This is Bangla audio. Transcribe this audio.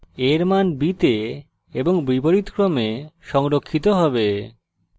a এর মান b তে এবং বিপরীতক্রমে সংরক্ষিত হবে